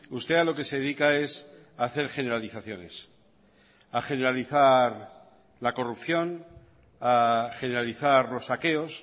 usted a lo que se dedica es a hacer generalizaciones a generalizar la corrupción a generalizar los saqueos